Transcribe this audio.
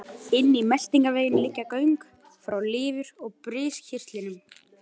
Inn í meltingarveginn liggja göng frá lifur og briskirtlinum.